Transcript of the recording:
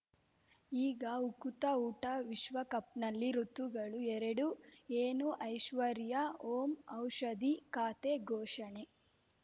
ಈಗ ಉಕುತ ಊಟ ವಿಶ್ವಕಪ್‌ನಲ್ಲಿ ಋತುಗಳು ಎರಡು ಏನು ಐಶ್ವರ್ಯಾ ಓಂ ಔಷಧಿ ಖಾತೆ ಘೋಷಣೆ